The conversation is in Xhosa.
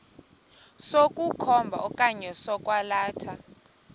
sokukhomba okanye sokwalatha